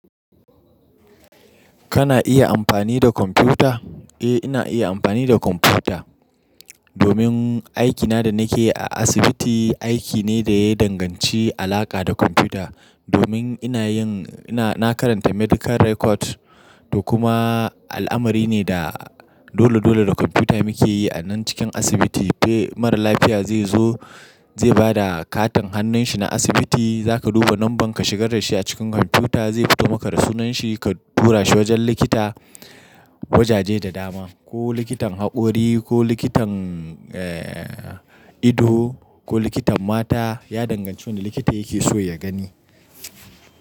Kana iya amfani da kwamfuta? Eh ina iya amfani da computer domin aikina da nake yi a asibiti, aiki ne da ya danganci alaƙa da computer. Domin ina yin, ina, na karanta medical record, da kuma al'amari ne da dole dole da computer muke yi a nan cikin asibiti. Eh, mara lafiya zai zo, zai ba da katin hannun shi na asibiti, za ka duba nanban ka shiga da shi a cikin computer zai fito maka da sunan shi ka tura shi wajen likita, wajaje da dama, ko likitan haƙori, ko likitan, eh, ido, ko likitan mata. Ya danganci wanda likita yake so ya gani.